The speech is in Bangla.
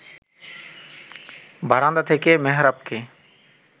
বারান্দা থেকে মেহেরাবকে